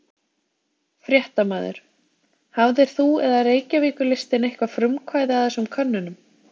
Fréttamaður: Hafðir þú eða Reykjavíkurlistinn eitthvað frumkvæði að þessum könnunum?